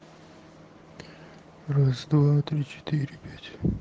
раз-два-три-четыре-пять